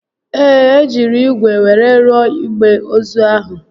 Ee, e jiri ígwè were rụọ igbe ozu ahụ